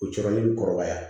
O cɛ ni kɔrɔbaya